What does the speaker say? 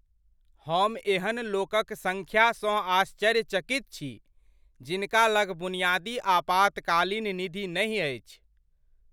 हम एहन लोकक संख्यासँ आश्चर्यचकित छी जिनका लग बुनियादी आपातकालीन निधि नहि अछि।